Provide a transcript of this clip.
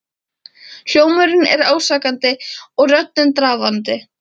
Hljómurinn er ásakandi og röddin drafandi.